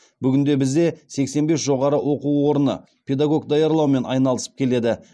бүгінде бізде сексен бес жоғары оқу орны педагог даярлаумен айналысып келеді